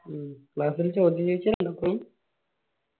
മ്മ് class ല് ചോദ്യം